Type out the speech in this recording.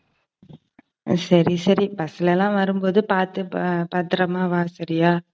சரி, சரி bus ல எல்லாம் வரும்போது பாத்து பத்திரமா வா சரியா